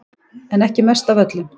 En ekki mest af öllum